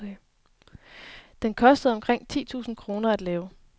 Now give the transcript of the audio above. Den kostede omkring ti tusinde kroner at lave.